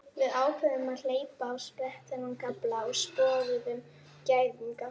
Við ákváðum að hleypa á sprett þennan kafla og sporuðum gæðingana.